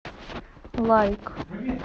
лайк